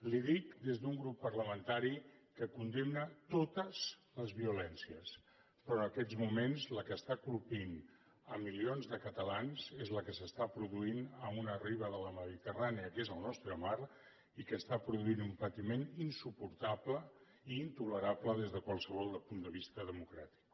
li ho dic des d’un grup parlamentari que condemna totesperò en aquests moments la que està colpint milions de catalans és la que s’està produint a una riba de la mediterrània que és el nostre mar i que està produint un patiment insuportable i intolerable des de qualsevol punt de vista democràtic